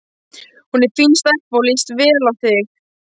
Hún er fín stelpa og líst vel á þig.